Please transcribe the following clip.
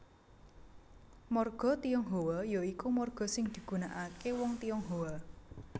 Marga Tionghoa ya iku marga sing digunakaké wong Tionghoa